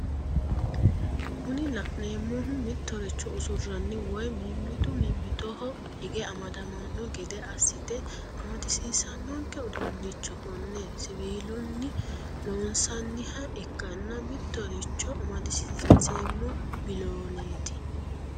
Kuni la'neemohu mitoricho usuranni woye mimitu mimitoho hige amadamanno gede assite amadisiisanonke uduunicho kone siviilunni loonsanniha ikkana mitoricho amadisiinseemmo bilooneeti.